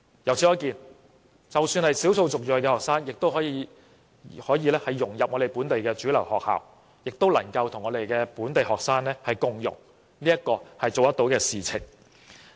由此可見，即使是少數族裔學生，也可以融入本地主流學校，與本地學生共融，這是可以做得到的事情。